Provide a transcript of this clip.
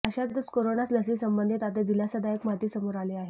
अशातच कोरोना लसीसंबंधीत आता दिलासादायक माहिती समोर आली आहे